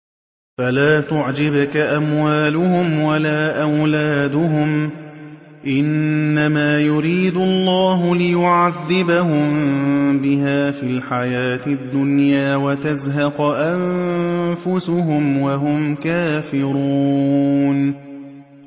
فَلَا تُعْجِبْكَ أَمْوَالُهُمْ وَلَا أَوْلَادُهُمْ ۚ إِنَّمَا يُرِيدُ اللَّهُ لِيُعَذِّبَهُم بِهَا فِي الْحَيَاةِ الدُّنْيَا وَتَزْهَقَ أَنفُسُهُمْ وَهُمْ كَافِرُونَ